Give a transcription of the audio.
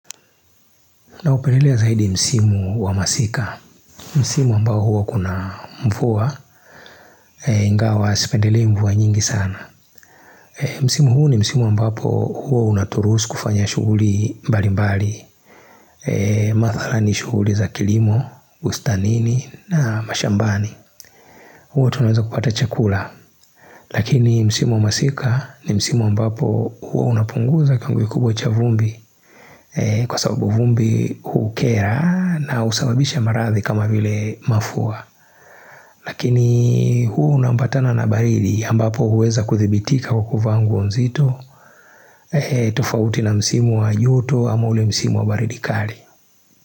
Na upendelea zaidi msimu wa masika Msimu ambao huwa kuna mvua ingawa sipendelei mvua nyingi sana Msimu huu ni msimu ambapo huwa unaturuhusu kufanya shuguli mbali mbali Mathara ni shuguli za kilimo, bustanini na mashambani huo tunaweza kupata chakula Lakini msimu wa masika ni msimu ambapo huwa unapunguza kiwango kubwa cha vumbi Kwa sababu vumbi hukera na usababisha maradhi kama vile mafua Lakini huwa unaambatana na baridi ambapo huweza kudhibitika au kuvaa nguo nzito tofauti na msimu wa joto ama ule msimu wa baridi kali.